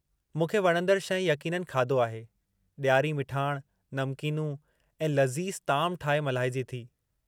मूंखे वणंदड़ु शइ यक़ीननि खाधो आहे, ॾियारी मिठाण, नमकीनूं ऐं लज़ीज़ ताम ठाहे मल्हाइजे थी।